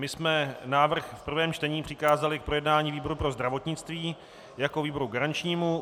My jsme návrh v prvém čtení přikázali k projednání výboru pro zdravotnictví jako výboru garančnímu.